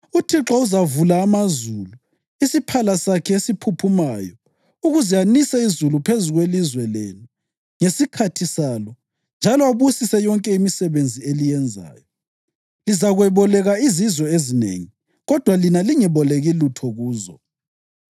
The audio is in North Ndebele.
UThixo uzavula amazulu, isiphala sakhe esiphuphumayo, ukuze anise izulu phezu kwelizwe lenu ngesikhathi salo njalo abusise yonke imisebenzi eliyenzayo. Lizakweboleka izizwe ezinengi kodwa lina lingeboleki lutho kuzo.